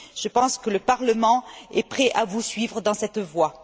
Je pense que le Parlement est prêt à vous suivre dans cette voie.